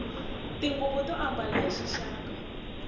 tinguvu to ambala hi xixaka